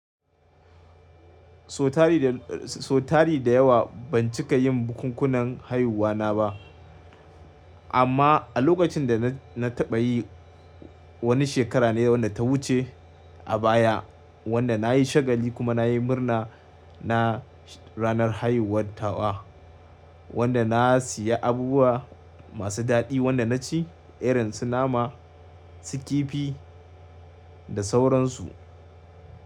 So tari da, so tari da yawa ban cika yin bukunkunan haihuwa na ba. Amma a lokacin da na, na taɓa yi wani shekara ne da wadda ta wuce a baya wadda na yi shagali kuma na yi murna na ranar haihuwar tawa. Wanda na siya abubuwa masu daɗi wanda na ci irin su nama, su kifi da sauransu.